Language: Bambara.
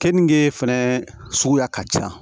Keninge fɛnɛ suguya ka ca